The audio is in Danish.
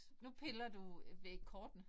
Nu piller du ved kortene